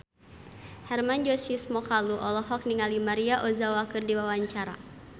Hermann Josis Mokalu olohok ningali Maria Ozawa keur diwawancara